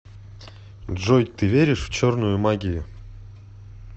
джой ты веришь в черную магию